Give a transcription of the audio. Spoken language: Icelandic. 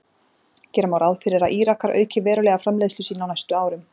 Gera má ráð fyrir að Írakar auki verulega framleiðslu sína á næstu árum.